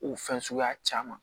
O fɛn suguya caman